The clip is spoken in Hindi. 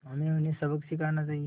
हमें उन्हें सबक सिखाना चाहिए